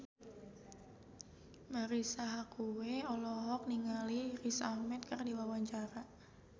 Marisa Haque olohok ningali Riz Ahmed keur diwawancara